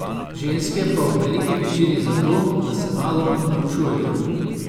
Ženske pa v veliki večini zato, da se malo norčujejo.